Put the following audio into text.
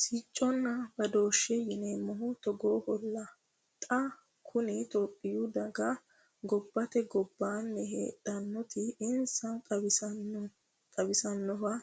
Sicconna badooshe yineemmohu togooholla xa kunni tophiyu daga gobbate gobbani heedhanoti insa xawisanoha